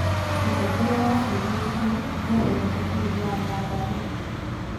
Mũtongoria wa bũrũri Mucirĩ niacerete bũrũri wa Nyandarua